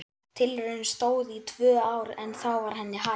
Tilraunin stóð í tvö ár en þá var henni hætt.